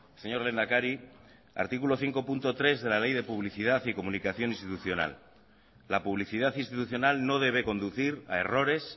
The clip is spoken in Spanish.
señor lehendakari artículo cinco punto tres de la ley de publicidad y comunicación institucional la publicidad institucional no debe conducir a errores